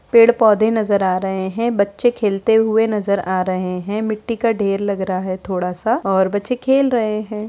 पेड़-पौधे नजर आ रहे है बच्चे खेलते हुए नज़र आ रहे है मिट्टी का ढेर लग रहा है थोड़ा सा और बच्चे खेल रहे है।